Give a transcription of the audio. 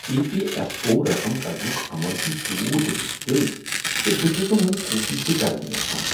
E P F O رقم کڑنک عمل چھ تیٛوٗت مشکل ز بہٕ چھس نہٕ وۄنۍ کوشش تہ کرٕنی یژھان